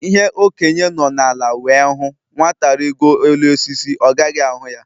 Ihe Okenye nọ ala wee hụ, Nwata rigoo elu osisi, ọ gaghị ahụ ya